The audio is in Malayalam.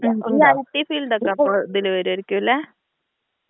ഉം ഈ ഐടി ഫീൽഡ് ഒക്കെ അപ്പോ ഇതിൽ വരുമായിരിക്കും അല്ലേ?